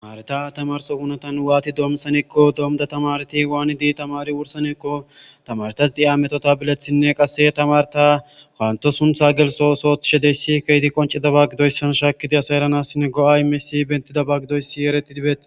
Naytta tamrsso hunetta wati dommissanako dommida tamareti waanidi tamari wurssanako tamaretas ha mettota bilaththine qasse tamaretta pantto sunththa gelsso ootho othishe diizayss kehidi qonccidaba giddoyssa shakkidi assay erranassine go'a immiyasi eretidi bettes.